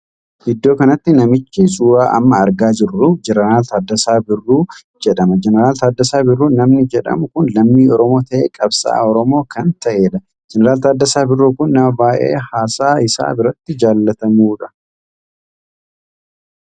Iddoo kanatti namichi suuraa amma argaa jiru jeneraal Taaddasaa Bidiruu jedhama. Jeneraal Taaddasaa Birrru namni jedhamu kun lammii Oromoo tahee qabsa'aa Oromoo kan taheedha. Jeneraal Taaddasaa Bidiruu kun nama baay'ee haasaa isaa biratti jaallatamudha.